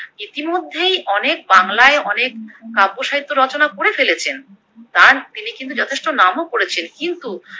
ইতিমধ্যেই অনেক বাংলায় অনেক কাব্য সাহিত্য রচনা করে ফেলেছেন, তার তিনি কিন্তু যথেষ্ট নামও করেছেন কিন্তু